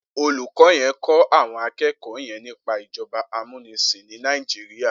Olúkò yèn n kò áwòn ákèékò yèn nipá ijòbá àmúnisín ni Nàijiriá